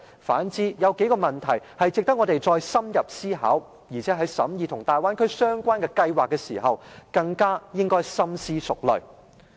反之，有數個問題值得我們再深入思考，而且在審議與大灣區相關計劃的時候，更應該深思熟慮。